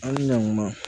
An ɲama